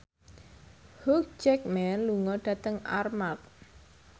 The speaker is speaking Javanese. Hugh Jackman lunga dhateng Armargh